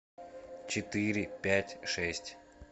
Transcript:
четыре пять шесть